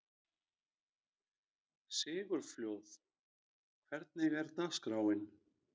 Sigurfljóð, hvernig er dagskráin?